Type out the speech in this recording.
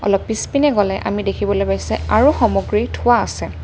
অলপ পিছপিনে গ'লে আমি দেখিবলৈ পাইছোঁ আৰু সামগ্ৰী থোৱা আছে।